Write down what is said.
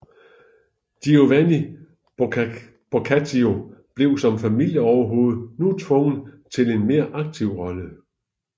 Giovanni Boccaccio blev som familieoverhovede nu tvunget til en mere aktiv rolle